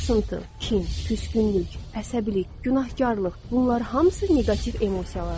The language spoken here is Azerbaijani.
Sarsıntı, kin, küskünlük, əsəbilik, günahkarlıq, bunlar hamısı neqativ emosiyalardır.